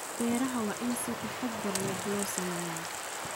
Beeraha waa in si taxadar leh loo sameeyaa.